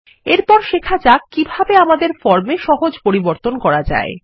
এরপর শেখাযাক কিভাবে আমাদের ফর্মে সহজ পরিবর্তন করা যায়